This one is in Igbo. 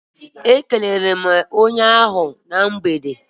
E kelere m onye ahụ na mgbede.